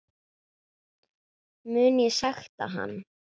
Mun ég sekta hann?